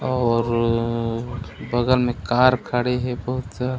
और अ बगल में कार खड़े हे बहुत स--